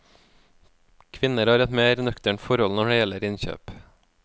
Kvinner har et mer nøkternt forhold når det gjelder innkjøp.